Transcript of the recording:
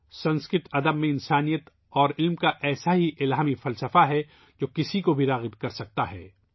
یہ سنسکرت ادب میں انسانیت اور علم کا الہی فلسفہ ہے ، جو کسی کو بھی اپنی طرف متوجہ کرسکتا ہے